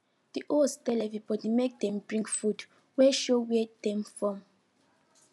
di host tell everybody make dem bring food wey show where dem from